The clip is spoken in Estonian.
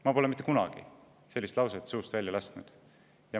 Ma pole mitte kunagi sellist lauset suust välja lasknud.